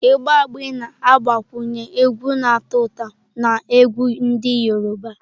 Ịgba Agbe na-agbakwunye egwu na-atọ ụtọ na egwú ndị Yoruba.